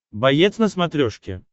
боец на смотрешке